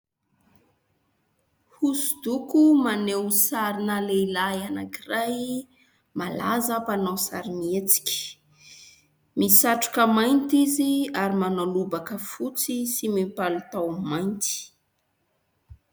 Hoso-doko maneho sari-na lehilahy anankiray, malaza, mpanao sarimihetsika. Misatroka mainty izy, ary manao lobaka fotsy sy mipalitao mainty.